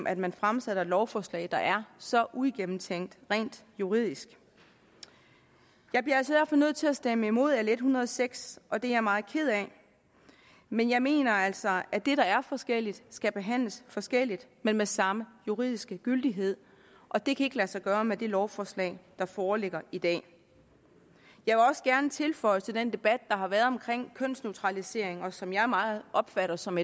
at man fremsætter et lovforslag der er så uigennemtænkt rent juridisk jeg bliver derfor nødt til at stemme imod l en hundrede og seks og det er jeg meget ked af men jeg mener altså at det der er forskelligt skal behandles forskelligt men med samme juridiske gyldighed og det kan ikke lade sig gøre med det lovforslag der foreligger i dag jeg vil også gerne tilføje til den debat der har været omkring kønsneutralisering og som jeg meget opfatter som